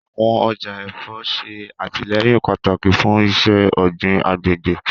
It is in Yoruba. Awọn ọja ẹfọ ṣe atilẹyin pataki fun iṣẹ-ogbin agbegbe